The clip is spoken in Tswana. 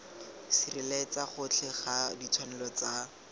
sireletsa gotlhe ga ditshwanelo tsa